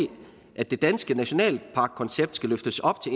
at det danske nationalparkkoncept skal løftes op til